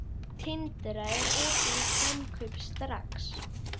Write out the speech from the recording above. Tindra, er opið í Samkaup Strax?